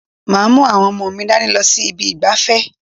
Màá mú àwọn ọmọ mi dání lọ sí ibi ìgbafẹ́.